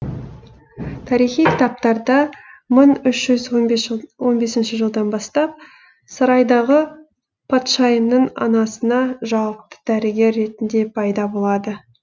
тарихи кітаптарда мың үш жүз он бесінші жылдан бастап сарайдағы патшайымның анасына жауапты дәрігер ретінде пайда болады